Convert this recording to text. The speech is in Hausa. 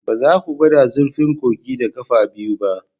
Ba za ku gwada zurfin kogin da ƙafa biyu ba